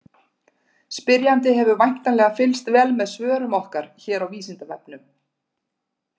Spyrjandi hefur væntanlega fylgst vel með svörum okkar hér á Vísindavefnum.